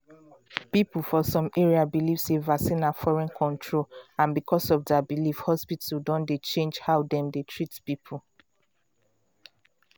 people for some area believe sey vaccine na foreign control and because of their belief hospital don dey change how dem dey treat people.